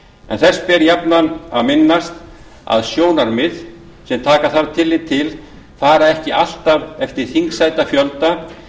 en þess ber jafnan að minnast að sjónarmið sem taka þarf tilliti til fara ekki alltaf eftir þingsætafjölda